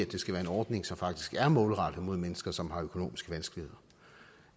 det skal være en ordning som faktisk er målrettet mennesker som har økonomiske vanskeligheder